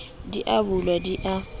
di a bulwa di a